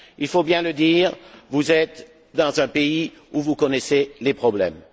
Il faut bien le dire, vous êtes dans un pays où vous connaissez des problèmes.